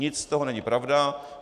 Nic z toho není pravda.